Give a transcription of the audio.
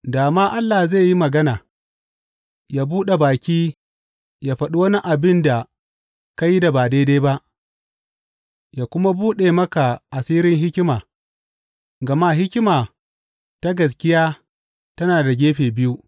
Da ma Allah zai yi magana, yă buɗe baki yă faɗi wani abin da ka yi da ba daidai ba yă kuma buɗe maka asirin hikima, gama hikima ta gaskiya tana da gefe biyu.